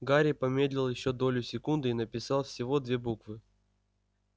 гарри помедлил ещё долю секунды и написал всего две буквы